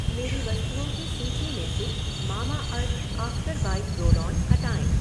मेरी वस्तुओं की सूची में से Mamaearth after bite roll on हटाएँ।